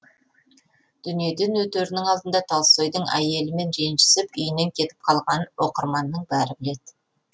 дүниеден өтерінің алдында толстойдың әйелімен ренжісіп үйінен кетіп қалғанын оқырманның бәрі біледі